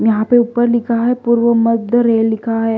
यहां पे ऊपर लिखा है पूर्व मध्य रेल लिखा है।